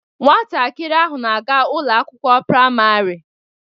Nwatakịrị ahụ na-aga Ụlọ akwụkwọ praịmarị